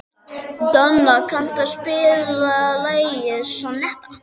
Donna, kanntu að spila lagið „Sonnetta“?